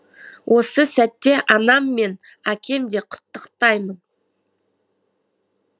осы сәтте анам мен әкем де құттықтаймын